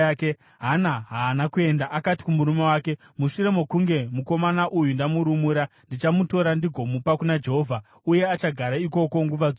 Hana haana kuenda. Akati kumurume wake, “Mushure mokunge mukomana uyu ndamurumura, ndichamutora ndigomupa kuna Jehovha, uye achagara ikoko nguva dzose.”